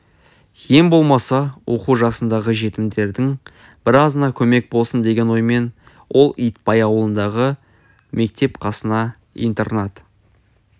ең болмаса оқу жасындағы жетімдердің біразына көмек болсын деген оймен ол итбай аулындағы мектеп қасына интернат